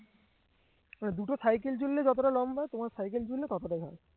মানে দুটো সাইকেল জুড়লে যতটা লম্বা তোমাদের সাইকেল জুড়লে ততটা ঘর